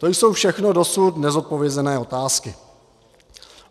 To jsou všechno dosud nezodpovězené otázky.